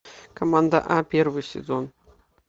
команда а первый сезон